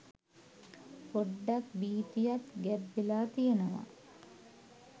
පොඩ්ඩක් භීතියත් ගැබ් වෙලා තියෙනවා.